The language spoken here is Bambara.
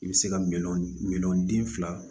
I bɛ se ka miliyɔn min den fila